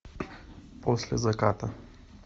после заката